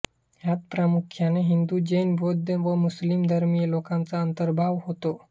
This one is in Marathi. ह्यात प्रामुख्याने हिंदू जैन बौद्ध व मुस्लिम धर्मीय लोकांचा अंतर्भाव होतो